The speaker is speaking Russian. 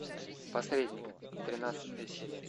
посредник тринадцатая серия